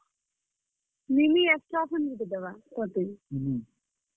Nini extra ଫେର୍ ଗୁଟେ ଦେବା ତତେ।